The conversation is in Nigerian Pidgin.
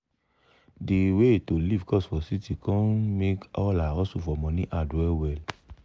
de way to live cost for city com make all her hustle for money hard well well. well well.